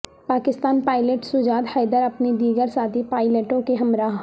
Pakistan pilot Sajjad Haider اپنے دیگر ساتھی پائلٹوں کے ہمراہ